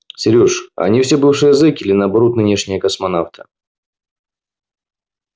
серёж а они все бывшие зеки или наоборот нынешние космонавты